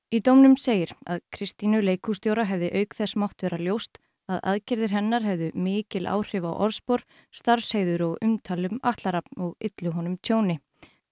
í dómnum segir að Kristínu leikhússtjóra hefði auk þess mátt vera ljóst að aðgerðir hennar hefðu mikil áhrif á orðspor starfsheiður og umtal um Atla Rafn og yllu honum tjóni